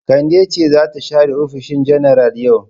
Kande ce za ta share ofishin janar yau.